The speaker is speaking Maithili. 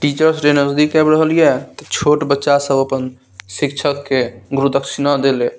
टीचर्स डे नजदीक आब रहलिए तो छोट बच्चा सब अपन शिक्षक के गुरु दक्षिणा देले --